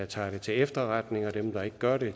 tager det til efterretning og dem der ikke gør det